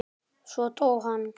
Svo dó hann.